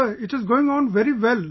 Sir it is going on very well